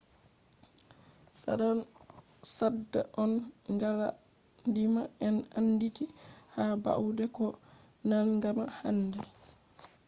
sedda on galadiima en andiiti ha baude ko nangama hande